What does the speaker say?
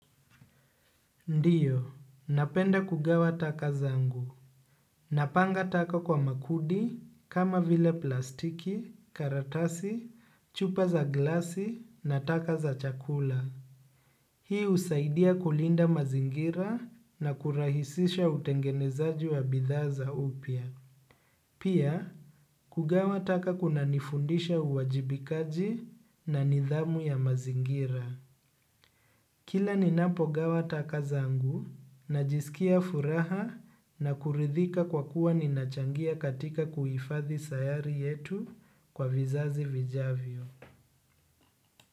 Ndiyo napenda kugawa taka zangu napanga taka kwa makundi kama vile plastiki karatasi chupa za glasi na taka za chakula hii husaidia kulinda mazingira na kurahisisha utengenezaji wa bidhaa za upya pia kugawa taka kunanifundisha uwajibikaji na nidhamu ya mazingira kila ninapogawa taka zangu najisikia furaha na kuridhika kwa kuwa ninachangia katika kuhifadhi sayari yetu kwa vizazi vijavyo.